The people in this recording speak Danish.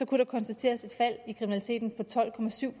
kunne der konstateres et fald i kriminaliteten på tolv procent